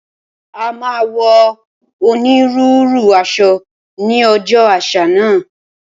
A máa wọ onírúurú aṣọ ní ọjọ́ àṣà náà